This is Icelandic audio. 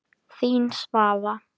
Þín, Svava.